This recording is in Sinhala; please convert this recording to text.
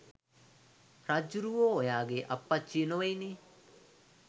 රජ්ජුරුවෝ ඔයාගේ අප්පච්චි නොවෙයිනේ.